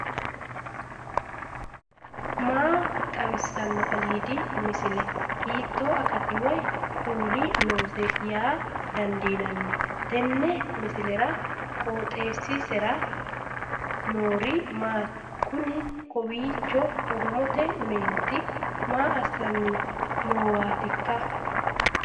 maa xawissanno aliidi misile ? hiitto akati woy kuuli noose yaa dandiinanni tenne misilera? qooxeessisera noori maati? kuni kawiicho oromote meenti maa assanni noowaatikka